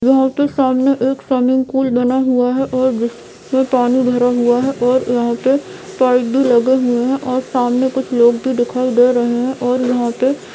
यह एक सामने एक स्विमिंग पूल बना हुआ है और जिसपे पानी भरा हुआ है और यहाँ पे पाइप भी लगा हुआ है और सामने कुछ लोग भी दिखाई दे रहे है और यहाँ पर--